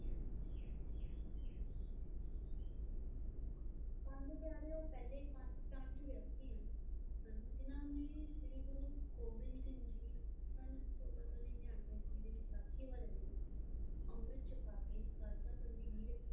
ਪੰਜ ਪਿਆਰੇ ਉਹ ਪਹਿਲੇ ਪੰਜ ਪੰਜ ਵਿਅਕਤੀ ਹਨ ਜਿੰਨਾ ਨੇ ਸ਼੍ਰੀ ਗੁਰੂ ਗੋਬਿੰਦ ਸਿੰਘ ਜੀ ਸਨ ਸੋਲਾਂ ਸੌ ਨਿਆਨਵੇ ਈਸਵੀ ਨੂੰ ਵੈਸਾਖੀ ਵਾਲੇ ਦਿਨ ਅੰਮ੍ਰਿਤ ਛਕਾ ਕੇ ਖਾਲਸਾ ਪੰਥ ਦੀ ਨੀਂਹ ਰੱਖੀ,